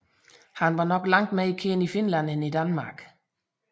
Han var nok langt mere kendt i Finland end i Danmark